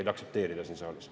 –, aktsepteerida siin saalis.